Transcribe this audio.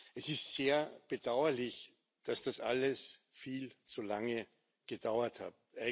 Es ist sehr bedauerlich, dass das alles viel zu lange gedauert hat.